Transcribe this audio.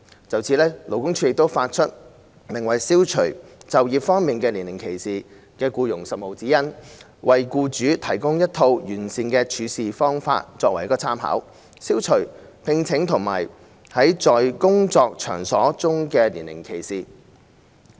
就此，勞工處發出名為《消除就業方面的年齡歧視》的僱傭實務指引，提供一套完善的處事方法供僱主參考，從而消除招聘和在工作場所中的年齡歧視。